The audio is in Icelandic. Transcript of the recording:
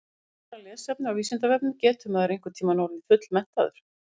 Frekara lesefni á Vísindavefnum Getur maður einhvern tímann orðið fullmenntaður?